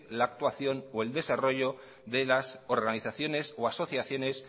la actuación o el desarrollo de las organizaciones o asociaciones